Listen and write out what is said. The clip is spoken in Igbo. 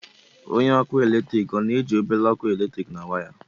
Eletrik ọ na-eji obere ọkụ eletrik na waya?